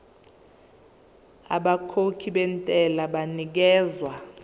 abakhokhi bentela banikezwa